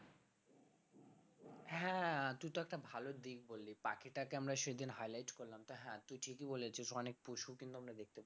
হ্যাঁ তুই তো একটা ভালো দিক বললি পাখিটাকে আমরা সেদিন highlight করলাম তো হ্যাঁ তুই ঠিকই বলেছিস অনেক পশুও আমরা কিন্তু দেখতে পাচ্ছি না ঠিকই একদম।